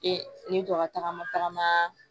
E ni dɔ ka tagama tagama